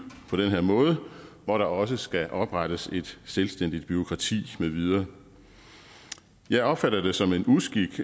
på den her måde hvor der også skal oprettes et selvstændigt bureaukrati med videre jeg opfatter det som en uskik